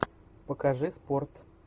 покажи спорт